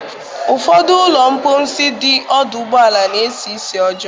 Ụfọdụ ụlọ mposi dị ọdụ ụgbọala na-esi ísì ọjọọ.